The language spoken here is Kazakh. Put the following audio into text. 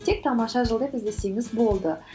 тек тамаша жыл деп іздесеңіз болды